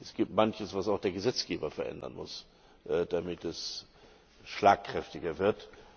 Es gibt Manches, was auch der Gesetzgeber verändern muss, damit es schlagkräftiger wird.